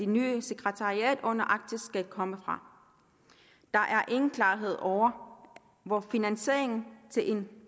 nye sekretariat under arktisk råd skal komme fra der er ingen klarhed over hvor finansieringen til en